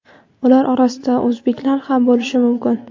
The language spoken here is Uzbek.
ular orasida o‘zbeklar ham bo‘lishi mumkin.